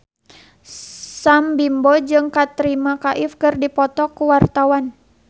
Sam Bimbo jeung Katrina Kaif keur dipoto ku wartawan